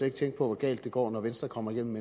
ikke tænke på hvor galt det går når venstre kommer igennem